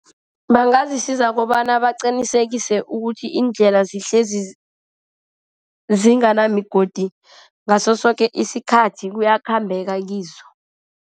Bangazisiza kobana baqinisekise ukuthi iindlela zihlezi zinganamigodi, ngaso soke isikhathi kuyakhambeka kizo.